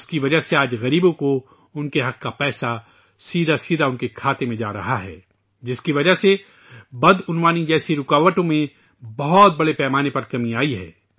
اس کی وجہ سے ، آج غریبوں کو ان کے واجب الادا پیسے براہ راست ان کے کھاتے میں مل رہے ہیں ، جس کی وجہ سے آج بدعنوانی جیسی رکاوٹوں میں بہت حد تک کمی آ گئی ہیں